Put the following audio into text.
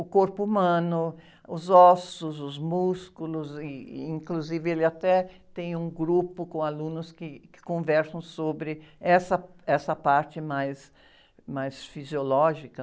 o corpo humano, os ossos, os músculos, e inclusive ele até tem um grupo com alunos que, que conversam sobre essa, essa parte mais, mais fisiológica.